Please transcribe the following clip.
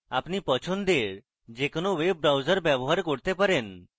আপনি পছন্দের যে কোনো web browser ব্যবহার করতে পারেন